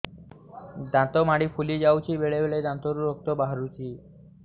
ଦାନ୍ତ ମାଢ଼ି ଫୁଲି ଯାଉଛି ବେଳେବେଳେ ଦାନ୍ତରୁ ରକ୍ତ ବାହାରୁଛି